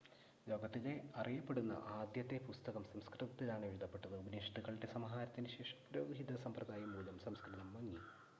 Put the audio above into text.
ലോകത്തിലെ അറിയപ്പെടുന്ന ആദ്യത്തെ പുസ്തകം സംസ്‌കൃതത്തിലാണ് എഴുതപ്പെട്ടത് ഉപനിഷത്തുക്കളുടെ സമാഹാരത്തിന് ശേഷം പുരോഹിത സമ്പ്രദായം മൂലം സംസ്‌കൃതം മങ്ങി